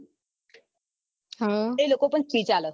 એ લોકો પણ speech આપે